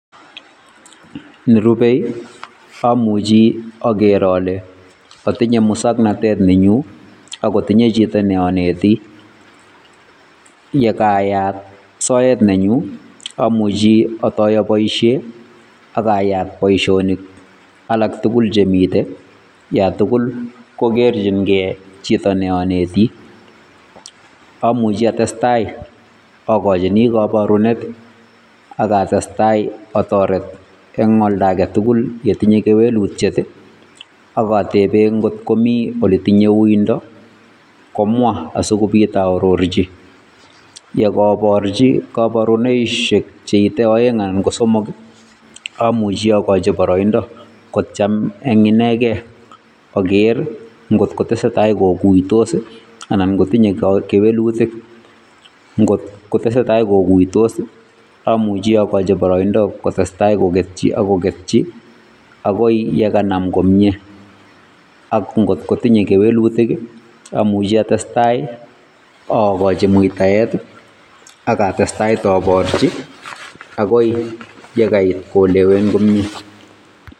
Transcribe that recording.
Nerubei amuche akeer ale atinye musoknotet nenyunet ako tindo chito neonetii yekaat sort nenyun amuchi atoyoo boishiet ak ayaat boishonik alaktugul chemiten yon tugul kokerchin gee chito neonetii. Yan tugul kotestai akochini koborunet I ak atestai otoret eng konda agetugul netinye kewelutiet akotebeen ngot komi oletinye uuindo komwa asikoobit oororchi yokoborchi koborunoisiek cheite oeng anan KO somok amuche akocho boroindo kotiem eng ineken kogeer ngot kotesetai kokuitos I anan kot kotinye kewelutik ngot kotesetai KO kuitos amuche akochi boroindo kotestai kogetyii ak kogetyii agoi chekanam komie, ak ngot kotinye kewelutik atestai aborchi akoi chekaikuyon komie.